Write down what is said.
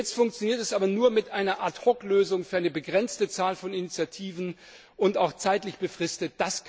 Jetzt funktioniert sie, aber nur mit einer Ad hoc Lösung für eine begrenzte Zahl von Initiativen und auch zeitlich befristet.